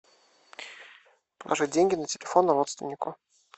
положить деньги на телефон родственнику